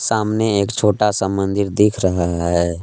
सामने एक छोटा सा मंदिर दिख रहा है।